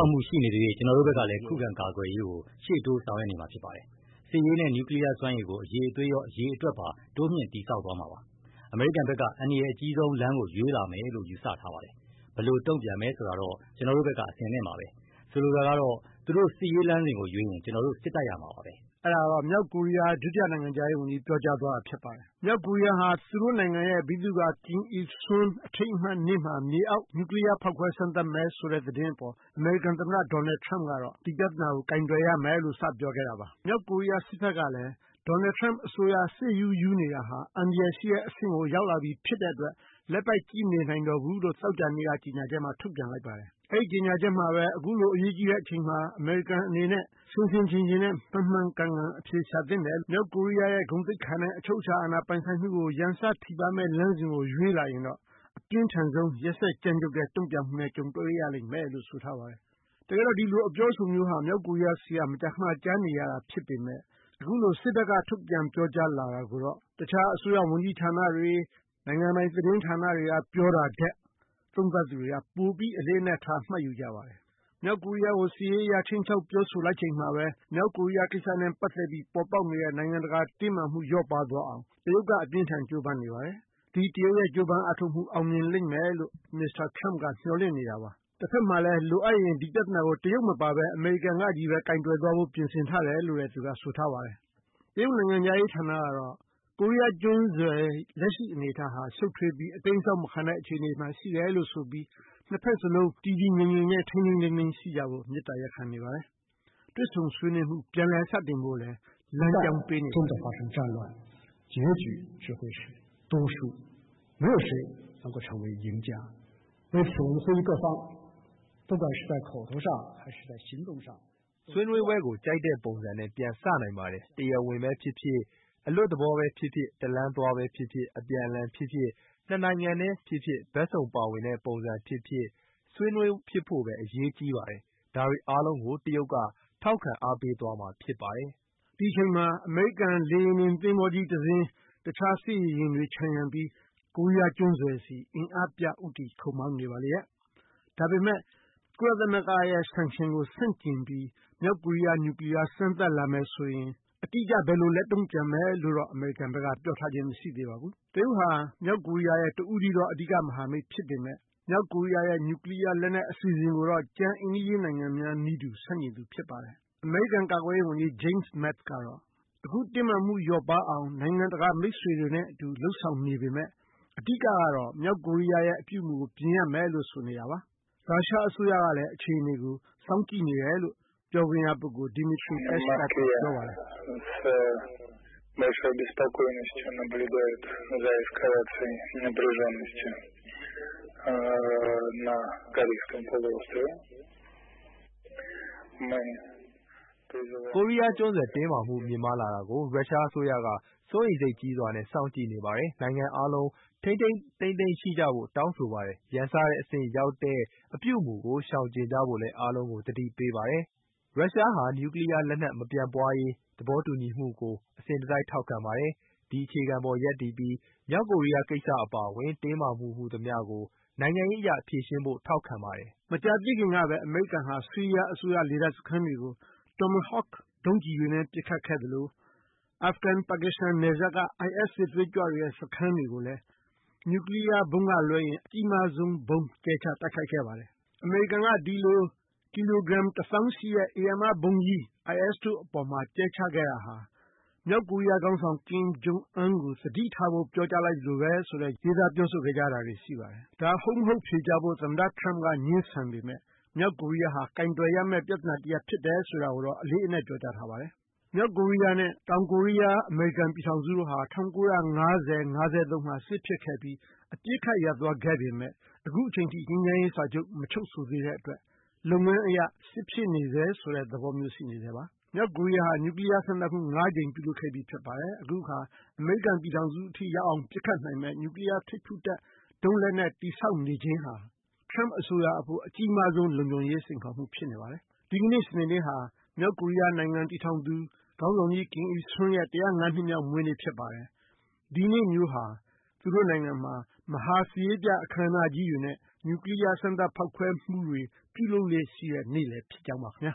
ာက်မှုတွေ ရှိနေသရွေ့ ကျနော်တို့ဘက်ကလည်း ခုခံကာကွယ်ရေးကို ရှေ့တိုးဆောင်ရွက်နေမှာဖြစ်ပါတယ်။ စစ်ရေးနဲ့ နျူကလီးယား စွမ်းရည်ကို အရည်အသွေးရော အရေအတွက်ပါ တိုးမြှင့်တည်ဆောက်သွားမှာပါ။ အမေရိကန်ဘက်က အန္တရာယ်အကြီးဆုံးလမ်းကို ရွေးလာမယ်လို့ ယူဆထားပါတယ်။ ဘယ်လိုတုန့်ပြန်မယ် ဆိုတာတော့ ကျနော်တို့ဘက်က အဆင်သင့်ပါပဲ။ ဆိုလိုတာကတော့ သူတို့စစ်ရေးလမ်းစဉ်ကို ရွေးရင် ကျနော်တို့ စစ်တိုက်ရမှာပါပဲ။" အဲ့တာကတော့ မြောက်ကိုရီးယား ဒုတိယနိုင်ငံခြားရေးဝန်ကြီး ပြောကြား သွားတာဖြစ်ပါတယ်။ မြောက်ကိုရီးယားဟာ သူတို့နိုင်ငံရဲ့ ဗိသုကာ Kim Il-sung အထိမ်းအမှတ်နေ့မှာ မြေအောက် နျှူကလီးယား ဖောက်ခွဲစမ်းသပ်မယ်ဆိုတဲ့သတင်းအပေါ် အမေရိကန်သမ္မတ Donald Trump ကတော့ ဒီပြသနာကို ကိုင်တွယ်ရမယ်လို့ စပြောခဲ့တာပါ။ မြောက်ကိုရီးယား စစ်ဘက်ကလည်း Donald Trump အစိုးရ စစ်ရူးရူးနေတာဟာ အန္တရာယ်ရှိတဲ့အဆင့်ကို ရောက်လာပြီဖြစ်တဲ့အတွက် လက်ပိုက်ကြည့်နေမှာ မဟုတ်တော့ဘူးလို့ သောကြာနေ့က ကြေညာချက်မှာ ထုတ်ပြန်လိုက်ပါတယ်။ အဲ့ဒီ့ကြေညာချက်မှာပဲ အခုလိုအရေးကြီးတဲ့အချိန်မှာ အမေရိကန်အနေနဲ့ ဆင်ဆင်ခြင်ခြင်နဲ့ မှန်မှန်ကန်ကန် အဖြေရှာသင့်တယ်။ မြောက်ကိုရီးယားရဲ့ ဂုဏ်သိက္ခာနဲ့ အချုပ်အခြာအာဏာ ပိုင်ဆိုင်မှုကို ရန်စထိပါးလာမယ့်လမ်းစဉ်ကို ရွေးလာရင်တော့ အပြင်းထန်ဆုံး ရက်စက်ကြမ်းကြုတ်မှုနဲ့ ကြုံတွေ့ရလိမ့်မယ်လို့ ပြောဆိုထားပါတယ်။" တကယ်တော့ ဒီလိုအပြောအဆိုမျိုးဟာ မြောက်ကိုရီးယားဆီက မကြာခဏ ကြားနေရတာဖြစ်ပေမဲ့ အခုလို စစ်ဘက်က ထုတ်ပြန်ပြောကြားလာတာကိုတော့ တခြားအစိုးရဝန်ကြီးဌာနတွေ နိုင်ငံပိုင်သတင်းဌာနတွေက ပြောတာထက် သုံးသပ်သူတွေက ပိုပြီးအလေးအနက်ထား မှတ်ယူကြပါတယ်။ မြောက်ကိုရီးယားကို စစ်ရေးအရ ခြိမ်းခြောက်ပြောဆိုလိုက်ချိန်မှာပဲ မြောက်ကိုရီးယား ကိစ္စနဲ့ပတ်သက်ပြီး ပေါ်ပေါက်နေတဲ့ နိုင်ငံတကာ တင်းမာမှု လျော့ပါးသွားအောင် တရုတ်က အပြင်းအထန်ကြိုးပမ်းနေပါတယ်။ ဒီတရုတ်ရဲ့ကြိုးပမ်းအားထုတ်မှု အောင်မြင်လိမ့်မယ်လို့ မစ္စတာTrump က မျှော်လင့်နေတာပါ။ တဘက်မှာလည်း လိုအပ်ရင် ဒီပြသနာကို တရုတ်မပါပဲ အမေရိကန်ကချည်းပဲ ကိုင်တွယ်သွားဖို့ ပြင်ဆင်ထားတယ်လို့လည်း သူက ဆိုထားပါတယ်။ တရုတ်နိုင်ငံခြားရေးဌာနကတော့ ကိုရီးယားကျွန်းဆွယ် လက်ရှိ အနေအထားဟာ ရှုပ်ထွေးပြီး အတိမ်းအစောင်းမခံတဲ့အခြေအနေမှာ ရှိနေတယ်လို့ ဆိုပြီး နှစ်ဘက်စလုံး တည်တည်ငြိမ်ငြိမ်နဲ့ ထိန်းထိန်းသိမ်းသိမ်း ရှိကြဖို့ မေတ္တာရပ်ခံနေပါတယ်။ တွေ့ဆုံဆွေးနွေးမှု ပြန်လည်စတင်ဖို့လည်း လမ်းကြောင်းပေးနေပါတယ်။ "ဆွေးနွေးပွဲကို ကြိုက်တဲ့ပုံစံနဲ့ပြန်စနိုင်ပါတယ်။ တရားဝင်ပဲဖြစ်ဖြစ် အလွတ်သဘော ပဲဖြစ်ဖြစ် တလမ်းသွားပဲဖြစ်ဖြစ် အပြန်အလှန်ဖြစ်ဖြစ် နှစ်နိုင်ငံတည်းဖြစ်ဖြစ် ဘက်စုံပါဝင်တဲ့ ပုံစံဖြစ်ဖြစ် ဆွေးနွေးဖြစ်ဖို့ပဲ အရေးကြီးပါတယ်။ ဒါတွေအားလုံးကို တရုတ်က ထောက်ခံအားပေးသွားမှာဖြစ်ပါတယ်။" ဒီအချိန်မှာ အမေရိကန် လေယာဉ်တင်သဘောၤကြီးတစင်း တခြားစစ်ရေယာဉ်တွေ ခြံရံပြီး ကိုရီးယားကျွန်းဆွယ်ဆီ အင်အားပြ ဦးတည်ခုတ်မောင်းနေပါလေရဲ့။ ဒါပေမဲ့ ကုလသမဂ္ဂရဲ့ Sanction ကို ဆန့်ကျင်ပြီး မြောက်ကိုရီးယားနျူကလီးယားစမ်းသပ်လာမယ်ဆိုရင် အတိအကျ ဘယ်လိုလက်တုန့်ပြန်မယ်လို့တော့ အမေရိကန်ဘက်က ပြောထားခြင်း မရှိသေးပါဘူး။ တရုတ်ဟာ မြောက်ကိုရီးယားရဲ့တဦးတည်းသော မဟာမိတ်ဖြစ်ပေမဲ့ မြောက်ကိုရီးယားရဲ့ နျူကလီးယားလက်နက်အစီအစဉ်ကိုတော့ ကျန်အိမ်နီးချင်းနိုင်ငံများ နည်းတူ ဆန့်ကျင်သူဖြစ်ပါတယ်။ အမေရိကန်ကာကွယ်ရေးဝန်ကြီး James Mattis ကတော့ အခုတင်းမာမှုလျော့ပါးအောင် နိုင်ငံတကာမိတ်ဆွေတွေနဲ့ အတူလုပ်ဆောင်နေပေမဲ့ အဓိက ကတော့ မြောက်ကိုရီးယားရဲ့ အပြုအမှုကို ပြင်ရမယ်လို့ ဆိုနေတာပါ။ ရုရှားအစိုးရကလည်း အခြေအနေကို စောင့်ကြည့်နေတယ်လို့ပြောခွင့်ရပုဂ္ဂိုလ် Dmitry Peskov က ပြောပါတယ်။ "ကိုရီးယားကျွန်းဆွယ်တင်းမာမှုမြင့်မားလာတာကို ရုရှားအစိုးရက စိုးရိမ်စိတ်ကြီးစွာနဲ့စောင့်ကြည့်နေပါတယ်။ နိုင်ငံအားလုံး ထိန်းထိန်းသိမ်းသိမ်း ရှိကြဖို့ တောင်းဆိုပါတယ်။ ရန်စတဲ့အဆင့်ရောက်တဲ့ အပြုအမူကို ရှောင်ကျဉ်ကြဖို့လည်း အားလုံးကို သတိပေးပါတယ်။ ရုရှားဟာ နျူကလီးယားလက်နက် မပြန့်ပွားရေး သဘောတူညီမှုကို အစဉ်တစိုက် ထောက်ခံပါတယ် ဒီအခြေခံအပေါ် ရပ်တည်ပြီး မြောက်ကိုရီးယားကိစ္စအပါအဝင် တင်းမာမှုဟူသမျှကို နိုင်ငံရေးအရ ဖြေရှင်းဖို့ ထောက်ခံပါတယ်။ " မကြာသေးခင်ကပဲ အမေရိကန်ဟာ ဆီးရီးယားအစိုးရလေတပ်စခန်းတွေကို ဒုံးကျည်တွေနဲ့ ပစ်ခတ်ခဲ့သလို အာဖဂန် ပါကစ္စတန်နယ်စပ်က IS စစ်သွေးကြွစခန်းတွေကိုလည်း နျူကလီးယားဗုံးကလွဲရင် အကြီးမားဆုံး ဗုံးကြဲချတိုက်ခိုက်ခဲ့ပါတယ်။ အမေရိကန်က ဒီလိုကီလိုဂရမ်တစ်သောင်းရှိတဲ့ ဧရာမဗုံးကြီး IS တို့အပေါ်မှာ ကြဲချခဲ့တာဟာ မြောက်ကိုရီးယားခေါင်းဆောင် ကင်မ်ကျုံအမ်းကို သတိထားဖို့ ပြောဆိုလိုက်သလိုပဲလို့ ရေးသားပြောဆိုခဲ့ကြတာတွေရှိပါတယ်။ ဒါဟုတ်မဟုတ် ဖြေကြားဖို့ သမ္မတ ထရမ့်က ငြင်းဆန်ပေမဲ့ မြောက်ကိုးရီးယားဟာ ကိုင်တွယ်ရမယ့်ပြသနာတရပ်ဖြစ်တယ် ဆိုတာကိုတော့ အလေးအနက်ပြောကြားထားပါတယ်။ မြောက်ကိုရီးယားနဲ့ တောင်ကိုရီးယား အမေရိကန်ပြည်ထောင်စုတို့ဟာ ၁၉၅၀- ၅၃ မှာ စစ်ဖြစ်ခဲ့ပြီး အပစ်ခတ်ရပ်သွားခဲ့ပေမဲ့ အခုအချိန်အထိ ငြိမ်းချမ်းရေးစာချုပ် မချုပ်ဆိုသေးတဲ့အတွက် လုပ်ငန်းအရ စစ်ဖြစ်နေဆဲဆိုတဲ့ သဘောမျိုးရှိနေဆဲပါ။ မြောက်ကိုရီးယားဟာ နျူကလီးယားစမ်းသပ်မှု ငါးကြိမ်ပြုလုပ်ခဲ့ပြီးဖြစ်ပါတယ်။ အခုအခါ အမေရိကန်ပြည်ထောင်စုအထိရောက်အောင်ပစ်ခတ်နိုင်မယ့် နျူကလီးယား ထိပ်ဖူးတပ်ဒုံးလက်နက်တည်ဆောက်နေခြင်းဟာ ထရမ့်အစိုးရအဖို့ အကြီးမားဆုံး လုံခြုံရေးစိန်ခေါ်မှုဖြစ်နေပါတယ်။ ဒီကနေ့ စနေနေ့ဟာ မြောက်ကိုရီးယားနိုင်ငံ တည်ထောင်သူ ခေါင်းဆောင်ကြီး Kim Il-sung ရဲ့ ၁၀၅ နှစ်မြောက်မွေးနေ့ ဖြစ်ပါတယ်။ ဒီနေ့မျိုးဟာ သူတို့နိုင်ငံမှာ မဟာစစ်ရေးပြအခမ်းအနားကြီးတွေနဲ့ နျှူကလီးယား စမ်းသပ်ဖောက်ခွဲမှုတွေ ပြုလုပ်လေ့ရှိတဲ့နေ့လည်းဖြစ်ကြောင်းပါခင်ဗျာ